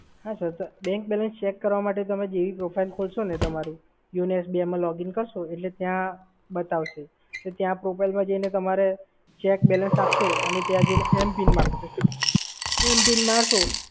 હા sir bank balance check કરવા માટે તમે જેવી profile ખોલશોને તમારી YONOSBI મા login કરશો એટલે તમને બતાવશે. તો ત્યાં profile માં જઈને તમારે check balance આપશે અને ત્યાં જઈને MPIN માંગશે. MPIN મારશો